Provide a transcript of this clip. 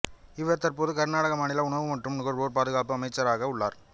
இவர் தற்போது கர்நாடகா மாநில உணவு மற்றும் நுகர்வோர் பாதுகாப்பு அமைச்சராக உள்ளார்